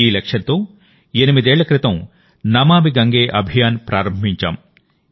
ఈ లక్ష్యంతో ఎనిమిదేళ్ల క్రితం నమామి గంగే అభియాన్ ప్రారంభించాం